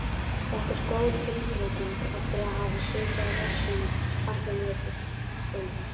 Þetta er góð tilbreyting eftir að hafa setið á rassinum allan veturinn.